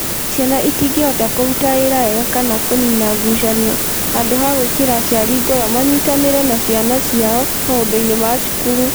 Ciana itingĩhota kũruta wĩra wega kana kũniina ngucanio handũ ha gwĩkĩra aciari ngoro manyitanĩre na ciana ciao maũndũ-inĩ ma cukuru.